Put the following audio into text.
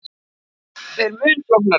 Það er mun flóknara.